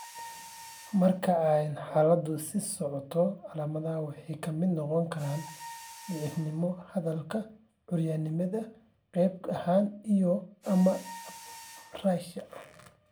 Marka ay xaaladdu sii socoto, calamadaha waxaa ka mid noqon kara daciifnimo hadalka, curyaannimada qayb ahaan, iyo/ama apraxia.